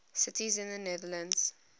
cities in the netherlands